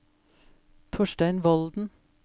Torstein Volden